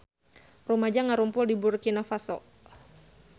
Rumaja ngarumpul di Burkina Faso